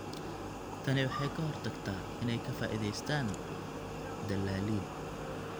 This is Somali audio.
Tani waxay ka hortagtaa inay ka faa'iidaystaan ????dalaaliin.